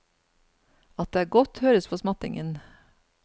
At det er godt, høres på smattingen.